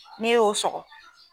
N'e ye o sɔgɔ.